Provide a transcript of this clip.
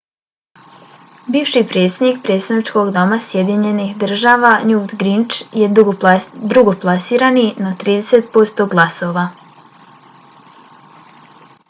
bivši predsjednik predstavničkog doma sjedinjenih država newt gingrich je drugoplasirani sa 32 posto glasova